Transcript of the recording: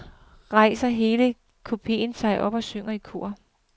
Så rejser hele kupeen sig op og synger i kor.